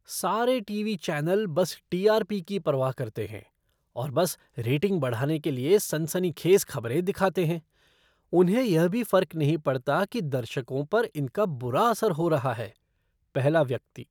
सारे TV channel बस TRP की परवाह करते हैं और बस रेटिंग बढ़ाने के लिए सनसनीखेज़ खबरें दिखाते हैं, उन्हें यह भी फर्क नहीं पड़ता कि दर्शकों पर इनका बुरा असर हो रहा है। पहला व्यक्ति